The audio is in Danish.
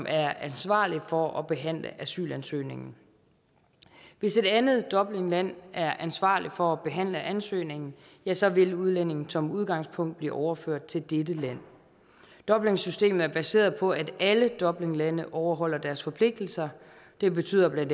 er ansvarligt for at behandle asylansøgningen hvis et andet dublinland er ansvarlig for at behandle ansøgningen ja så vil udlændingen som udgangspunkt blive overført til dette land dublinsystemet er baseret på at alle dublinlande overholder deres forpligtelser det betyder bla